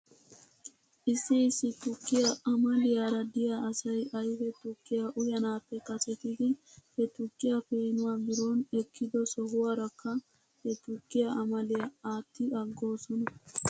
Issi issi tukkiyaa amaliyaara de'iyaa asay ayfe tukkiyaa uyanaappe kasetidi he tukkiyaa peenuwaa biroon ekkido sohuwaarakka he tukkiyaa amaliyaa aatti aggoosona.